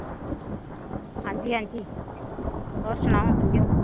ਹਾਂਜੀ ਹਾਂਜੀ, ਹੋਰ ਸੁਣਾਓ ਕਿੱਥੇ ਹੋ।